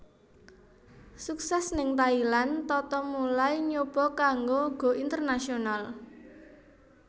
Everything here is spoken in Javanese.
Sukses ning Thailand Tata mulai nyoba kanggo go international